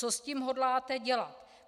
Co s tím hodláte dělat?